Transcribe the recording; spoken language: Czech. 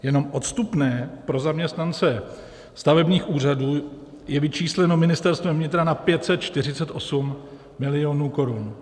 Jenom odstupné pro zaměstnance stavebních úřadů je vyčísleno Ministerstvem vnitra na 548 milionů korun.